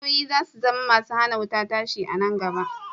Wayoyi za su zama masu hana wuta tashi a nan gaba.